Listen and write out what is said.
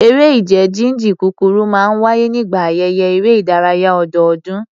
Eré ìje jíjìn kúkúrú máa ń wáyé nígbà ayẹyẹ eré ìdárayá ọdọọdún